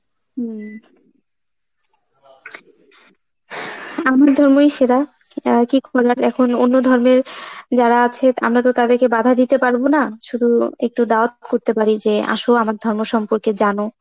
হ্যাঁআ , আমার ধর্মই সেরা, অ্যাঁ এখন অন্য ধর্মের যারা আছে, আমরা তো তাদেরকে বাধা দিতে পারবো না, শুধু একটু Urdu করতে পারি যে, আসো আমার ধর্মের সম্পর্কে জানো,